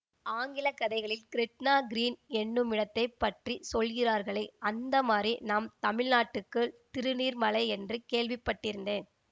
ஆங்கிலக் கதைகளில் Gretna Green என்னுமிடத்தைப் பற்றி சொல்கிறார்களே அந்த மாதிரி நம் தமிழ்நாட்டுக்குத் திருநீர்மலை என்று கேள்விப்பட்டிருந்தேன்